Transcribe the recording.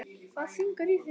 Hvað syngur í þér?